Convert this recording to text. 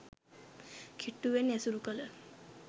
කිට්ටුවෙන් ඇසුරු කළ